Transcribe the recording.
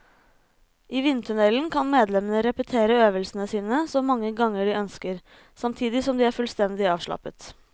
I vindtunnelen kan medlemmene repetere øvelsene sine så mange ganger de ønsker, samtidig som de er fullstendig avslappet.